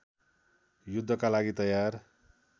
युद्धका लागि तयार